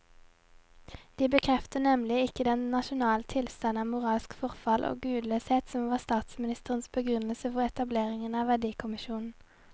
De bekrefter nemlig ikke den nasjonale tilstand av moralsk forfall og gudløshet som var statsministerens begrunnelse for etableringen av verdikommisjonen.